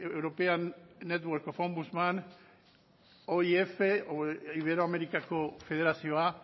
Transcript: european network of ombusdmen oif edo iberoamerikako federazioa